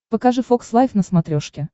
покажи фокс лайв на смотрешке